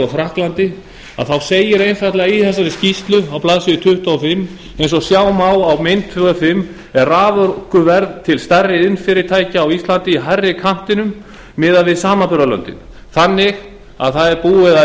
frakklandi þá segir einfaldlega í þessari skýrslu á blaðsíðu tuttugu og fimm eins og sjá má á þingskjali fimm er raforkuverð til stærri iðnfyrirtækja á íslandi í hærri kantinum miðað við samanburðarlöndin þannig að búið er að